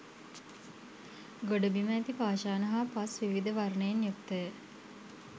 ගොඩබිම ඇති පාෂාණ හා පස් විවිධ වර්ණයෙන් යුක්තය.